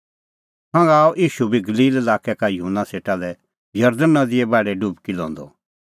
संघा आअ ईशू बी गलील लाक्कै का युहन्ना सेटा लै जरदण नदीए बाढै डुबकी लंदअ